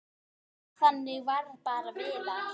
Þannig var bara Viðar.